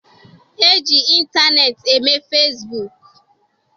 E ji ịntaneetị eme fasibuuku.